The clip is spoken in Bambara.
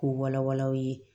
K'u wala wala aw ye